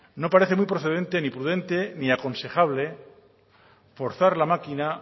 no parece muy procedente ni prudente ni aconsejable forzar la máquina